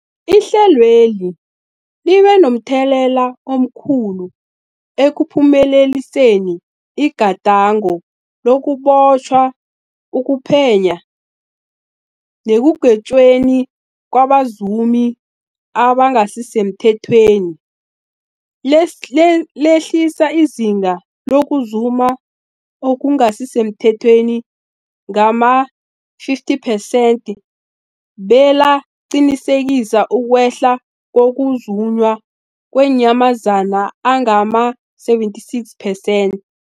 Ihlelweli libe momthelela omkhulu ekuphumeleliseni igadango lokubotjhwa, ukuphenywa nekugwetjweni kwabazumi abangasisemthethweni, lehlisa izinga lokuzuma okungasi semthethweni ngama-50 persenthe, belaqinisekisa ukwehla kokuzunywa kweenyamazana ngama-76 percent.